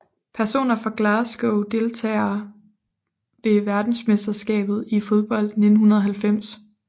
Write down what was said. Personer fra Glasgow Deltagere ved verdensmesterskabet i fodbold 1990